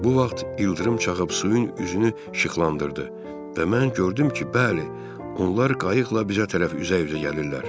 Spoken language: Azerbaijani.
Bu vaxt ildırım çaxıb suyun üzünü işıqlandırdı və mən gördüm ki, bəli, onlar qayıqla bizə tərəf üzə-üzə gəlirlər.